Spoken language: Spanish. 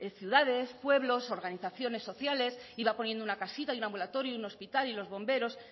ciudades pueblos organizaciones sociales y va poniendo una casita un ambulatorio y un hospital y los bomberos